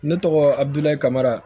Ne tɔgɔ adulahi kama